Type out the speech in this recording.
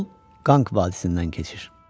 Yol Qanq vadisindən keçir.